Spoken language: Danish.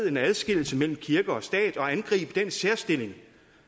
en adskillelse mellem kirke og stat og angribe den særstilling